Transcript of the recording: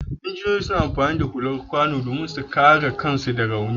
Injiniyoyi suna amfani da hular kwano saboda su kare kansu da rauni.